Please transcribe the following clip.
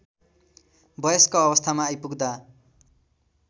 वयस्क अवस्थामा आइपुग्दा